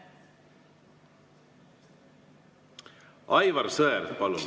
Aivar Sõerd, palun!